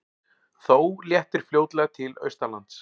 Þó léttir fljótlega til austanlands